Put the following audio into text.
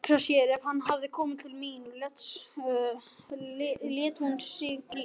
Hugsa sér ef hann hefði komið til mín, lét hún sig dreyma.